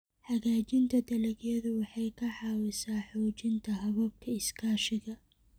Hagaajinta dalagyadu waxay ka caawisaa xoojinta hababka iskaashiga.